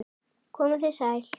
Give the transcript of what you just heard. Komiði sæl!